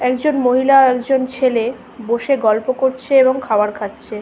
একজন মহিলা আর একজন ছেলে বসে গল্প করছে এবং খাবার খাচ্ছে ।